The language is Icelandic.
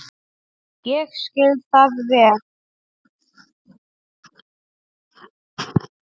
Ég skil það vel.